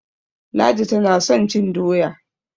Ladi tana son cin doya.